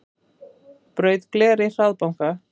Braut gler í hraðbanka